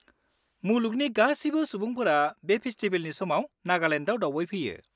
मुलुगनि गासिबो सुबुंफोरा बे फेस्टिबेलनि समाव नागालेन्डाव दावबायफैयो।